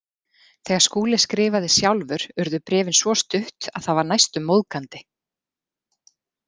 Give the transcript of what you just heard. Þegar Skúli skrifaði sjálfur urðu bréfin svo stutt að það var næstum móðgandi.